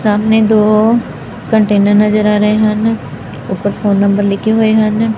ਸਾਹਮਣੇ ਦੋ ਕੰਟੇਨਰ ਨਜ਼ਰ ਆ ਰਹੇ ਹਨ ਉੱਪਰ ਫੋਨ ਨੰਬਰ ਲਿਖੇ ਹੋਏ ਹਨ।